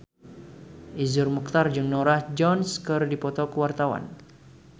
Iszur Muchtar jeung Norah Jones keur dipoto ku wartawan